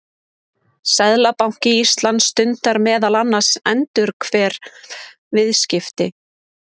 seðlabanki íslands stundar meðal annars endurhverf viðskipti